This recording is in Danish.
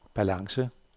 balance